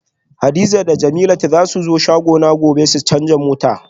Hadiza da jemilat zasu zo shagona gobe su canza mota